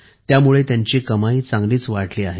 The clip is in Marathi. त्यामुळे त्यांची कमाईही चांगलीच वाढली आहे